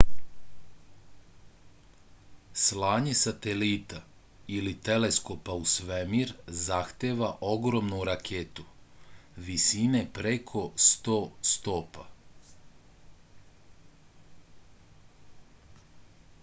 slanje satelita ili teleskopa u svemir zahteva ogromnu raketu visine preko 100 stopa